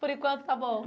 Por enquanto, está bom.